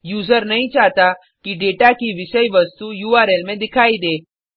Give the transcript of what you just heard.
user नहीं चाहता कि डेटा की विषय वस्तु उर्ल में दिखाई दे